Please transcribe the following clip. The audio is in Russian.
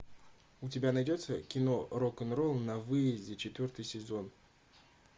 у тебя найдется кино рок н ролл на выезде четвертый сезон